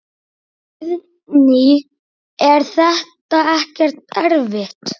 Guðný: Er þetta ekkert erfitt?